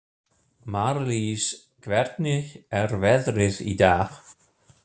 Marlís, hvernig er veðrið í dag?